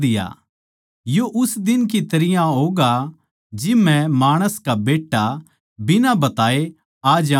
यो उस दिन की तरियां होगा जिब मै माणस का बेट्टा बिना बताये आ जाऊँगा